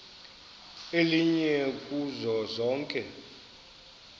elinye kuzo zonke